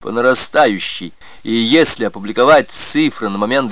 по нарастающей и если опубликовать цифры на момент